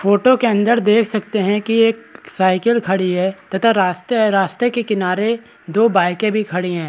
Photo के अन्दर देख सकते हैं की एक साइकिल खड़ी है तथा रास्ते हैं रास्ते के किनारे दो बाइके भी खड़ी हैं ।